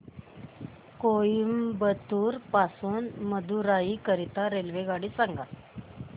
कोइंबतूर पासून मदुराई करीता रेल्वेगाडी सांगा